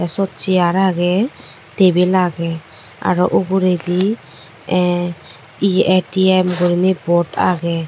siut chair agey table agey aro uguredi A_T_M guri board agey.